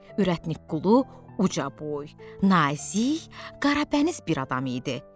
Ürətnik Qulu uca boy, nazik, qarabəniz bir adam idi.